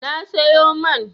Na sayo man.